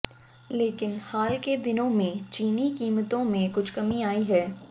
लेकिन हाल के दिनों में चीनी कीमतों में कुछ कमी आई है